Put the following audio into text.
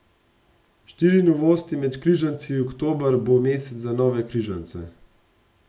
Štiri novosti med križanci Oktober bo mesec za nove križance.